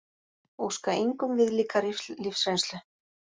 Óskar engum viðlíka lífsreynslu